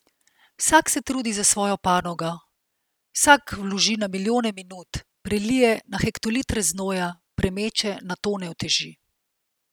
Vsak se trudi za svojo panogo, vsak vloži na milijone minut, prelije na hektolitre znoja, premeče na tone uteži.